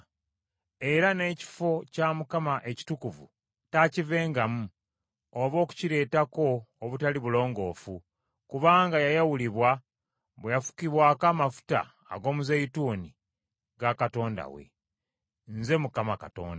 Era n’ekifo kya Katonda we ekitukuvu taakivengamu oba okukireetako obutali bulongoofu, kubanga yayawulibwa bwe yafukibwako amafuta ag’omuzeeyituuni ga Katonda we. Nze Mukama Katonda.